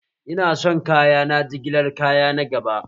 Ina son kayana jigilar kaya na gaba!